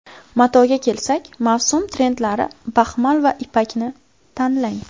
Matoga kelsak, mavsum trendlari baxmal va ipakni tanlang.